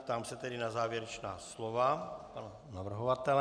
Ptám se tedy na závěrečná slova pana navrhovatele.